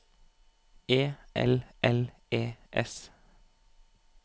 E L L E S